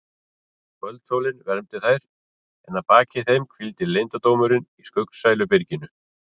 Kvöldsólin vermdi þær en að baki þeim hvíldi leyndardómurinn í skuggsælu byrginu.